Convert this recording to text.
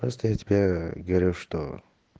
просто я тебе говорю что